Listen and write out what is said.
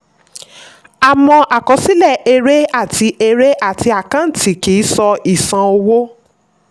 àmọ́ àkọsílẹ̀ èrè àti èrè àti àkàǹtì kì í sọ ìṣàn owó.